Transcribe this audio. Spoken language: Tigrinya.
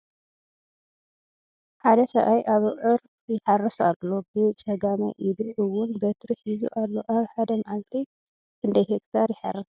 ሓደ ሰብአይ ኣብዕር ይሓርስ ኣሎ ብ ፀጋማይ ኢዱ እውን በትሪ ሒዙ ኣሎ ። ኣብ ሓደ መዕልቲ ክንደይ ሄክታር ይሓርስ ?